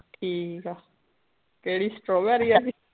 ਠੀਕ ਆ ਕਿਹੜੀ strawberry ਆਲੀ